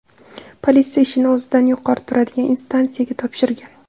Politsiya ishni o‘zidan yuqori turadigan instansiyaga topshirgan.